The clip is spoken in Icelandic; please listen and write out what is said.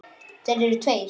Þeir eru tveir.